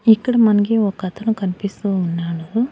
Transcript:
ఇక్కడ మనకి ఒకతను కన్పిస్తూ ఉన్నాడు.